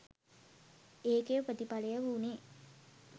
ඒකෙ ප්‍රතිඵලය වුණේ